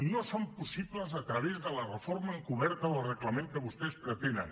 no són possibles a través de la reforma encoberta del reglament que vostès pretenen